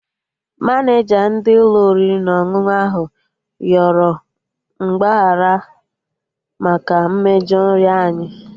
Maneja ndị Ụlọ oriri na ọṅụṅụ ahụ yọrọ mgbaghara maka mmejọ nri anyị